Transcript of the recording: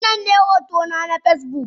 Wannan ne hotona na Facebook.